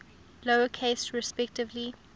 lower case respectively